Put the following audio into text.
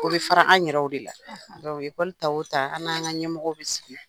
O bɛ fara an yɛrɛw de la [? ɛkɔli ta o ta, an n'an ka ɲɛmɔgɔw bɛ sigi.